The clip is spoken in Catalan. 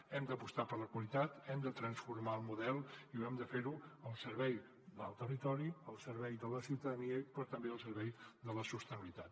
hem d’apostar per la qualitat hem de transformar el model i hem de fer ho al servei del territori al servei de la ciutadania però també al servei de la sostenibilitat